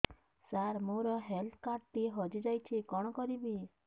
ସାର ମୋର health card ଟି ହଜି ଯାଇଛି କଣ କରିବି